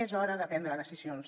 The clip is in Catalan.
és hora de prendre decisions